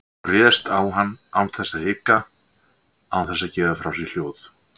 Hún réðst á hann án þess að hika, án þess að gefa frá sér hljóð.